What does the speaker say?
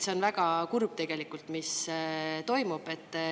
See on tegelikult väga kurb, mis toimub.